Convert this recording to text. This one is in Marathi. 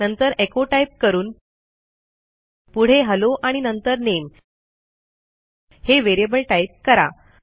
नंतर एको टाईप करून पुढे हेल्लो आणि नंतर नामे हे व्हेरिएबल टाईप करा